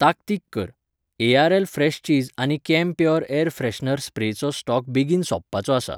ताकतीक कर, ARLA fresh चीज आनी कैम्प्योर एयर फ्रेशनर स्प्रेचो स्टॉक बेगीन सोंपपाचो आसा.